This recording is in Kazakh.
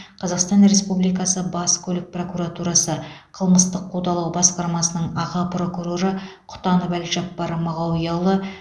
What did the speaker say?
қазақстан республикасы бас көлік прокуратурасы қылмыстық қудалау басқармасының аға прокуроры құтанов әлжаппар мағауияұлы